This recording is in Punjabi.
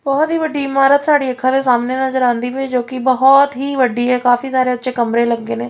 ਬੋਹੁਤ ਹੀ ਵੱਡੀ ਇਮਾਰਤ ਸਾਡੀ ਅੱਖਾਂ ਦੇ ਸਾਹਮਣੇ ਨਜ਼ਰ ਆਂਦੀ ਪਾਈ ਜੋ ਕੀ ਬੋਹੁਤ ਹੀ ਵੱਡੀ ਹੈ ਕਾਫੀ ਸਾਰੇ ਉਹਚ ਕਮਰੇ ਲੱਗੇ ਨੇ।